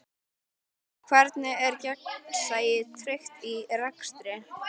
Hvernig er gegnsæi tryggt í rekstri?